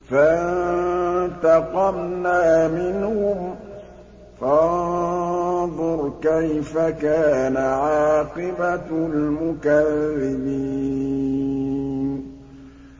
فَانتَقَمْنَا مِنْهُمْ ۖ فَانظُرْ كَيْفَ كَانَ عَاقِبَةُ الْمُكَذِّبِينَ